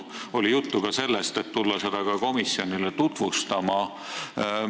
Siis oli juttu ka sellest, et seda tuleks komisjonile tutvustada.